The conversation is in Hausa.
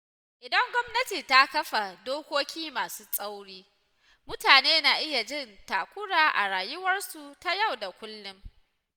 Idan gwamnati ta kafa dokoki masu tsauri, mutane na iya jin takura a rayuwarsu ta yau da kullum.